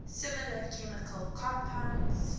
similar chemical compounds